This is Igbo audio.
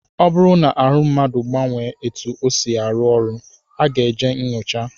Ọ bụrụ na ahụ mmadụ gbanwee etu ọ si arụ ọrụ, ọ ga-eje nnyocha